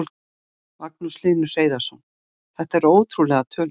Magnús Hlynur Hreiðarsson: Þetta eru ótrúlegar tölur?